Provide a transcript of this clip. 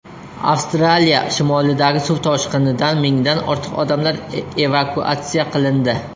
Avstraliya shimolidagi suv toshqinidan mingdan ortiq odamlar evakuatsiya qilindi.